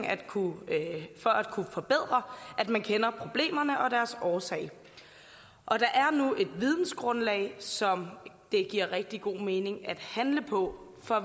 at kunne forbedre at man kender problemerne og deres årsag og der er nu et vidensgrundlag som det giver rigtig god mening at handle på for